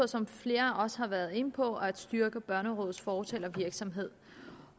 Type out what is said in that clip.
som flere også har været inde på at styrke børnerådets fortalervirksomhed